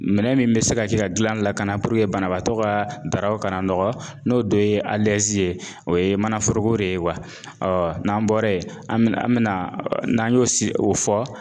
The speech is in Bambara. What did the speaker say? Minɛn min bɛ se ka kɛ ka dilan la ka na banabaatɔ ka dabɔ kana nɔgɔ n'o don ye ye o ye manaforoko de ye ɔ n'an bɔra yen an bɛna an bɛna n'an y'o si o fɔ